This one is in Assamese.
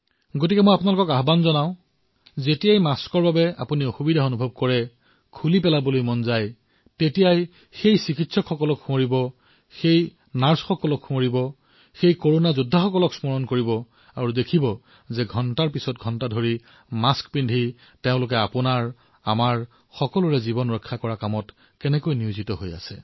এনে সময়ত মই আপোনালোকক আহ্বান জনাইছো যে যেতিয়াই আপোনালোকে মাস্কৰ ফলত সমস্যা অনুভূত কৰে তাক আঁতৰাই পেলোৱাৰ বাসনা হয় অলপ সময়ৰ বাবে সেই চিকিৎসকসকলক স্মৰণ কৰক সেই নাৰ্ছসকলক স্মৰণ কৰক আমাৰ সেই কৰোনা যোদ্ধাসকলক স্মৰণ কৰক আপুনি লক্ষ্য কৰিব তেওঁলোকে মাস্ক পৰিধান কৰি ঘণ্টাজুৰি আমাৰ জীৱন ৰক্ষা কৰাৰ বাবে নিয়োজিত হৈছে